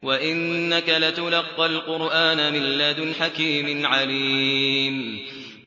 وَإِنَّكَ لَتُلَقَّى الْقُرْآنَ مِن لَّدُنْ حَكِيمٍ عَلِيمٍ